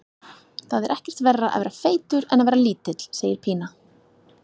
Það er ekkert verra að vera feitur en að vera lítill, segir Pína.